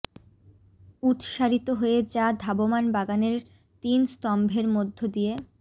উৎসারিত হয়ে যা ধাবমান বাগানের তিন স্তম্ভের মধ্য দিয়ে